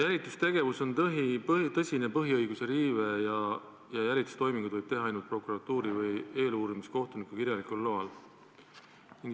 Jälitustegevus on tõsine põhiõiguse riive ja jälitustoiminguid võib teha ainult prokuratuuri või eeluurimiskohtuniku kirjalikul loal.